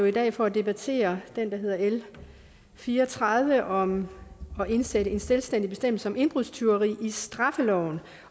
i dag for at debattere det der hedder l fire og tredive om at indsætte en selvstændig bestemmelse om indbrudstyveri i straffeloven